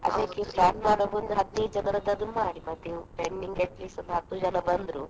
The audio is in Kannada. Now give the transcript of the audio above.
plan ಮಾಡುವಾಗ ಹದಿನೈದು ಜನರನಾದ್ರೂ ಮಾಡಿ ಮತ್ತೆ ending at least ಒಂದು ಹತ್ತು ಜನ ಬಂದ್ರು.